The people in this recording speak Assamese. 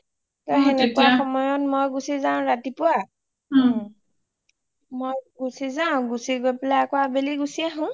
সেনেকুৱা সময়ত মই গুচি যাও ৰাতিপুৱা ওম মই গুচি যাও গৈ পেলাই আবেলি গুচি আহো